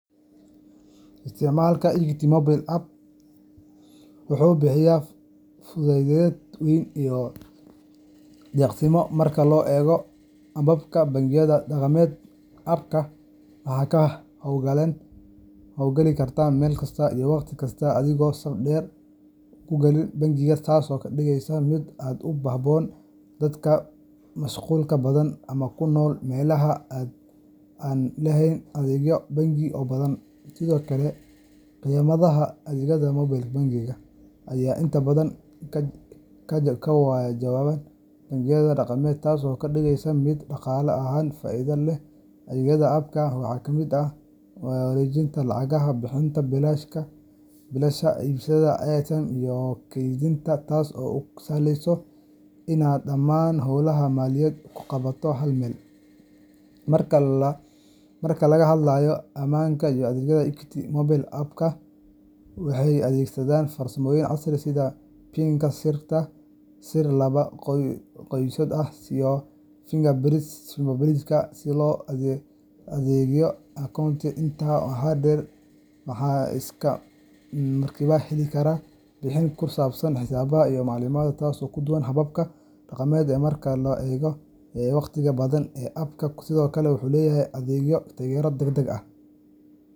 Isticmaalka Equity Mobile App wuxuu bixiya fudayd weyn iyo degdegsiimo marka loo eego hababka bangiyada dhaqameed. App-ka waxaad ka hawlgelin kartaa meel kasta iyo waqti kasta adigoon saf dheer ku gelin bangiga, taasoo ka dhigaysa mid aad u habboon dadka mashquulka badan ama ku nool meelaha aan lahayn adeegyo bangi oo badan. Sidoo kale, khidmadaha adeegga mobile banking-ka ayaa inta badan ka jaban kuwa bangiyada dhaqameed, taasoo ka dhigaysa mid dhaqaale ahaan faa’iido leh. Adeegyada app-ka waxaa ka mid ah wareejinta lacagaha, bixinta biilasha, iibsashada airtime, iyo keydinta, taas oo kuu sahlaysa inaad dhammaan howlahaaga maaliyadeed ku qabato hal meel. Marka laga hadlayo ammaanka iyo adeegga, Equity Mobile App waxay adeegsataa farsamooyin casri ah sida PINka, sir laba-geesood ah, iyo fingerprintka si loo ilaaliyo akoonkaaga. Intaa waxaa dheer, waxaad isla markiiba heli kartaa warbixin ku saabsan xisaabtaada iyo macaamiladaada, taasoo ka duwan hababka dhaqameed ee mararka qaar qaata waqti iyo dadaal badan. App-ku sidoo kale wuxuu leeyahay adeeg taageero degdeg ah .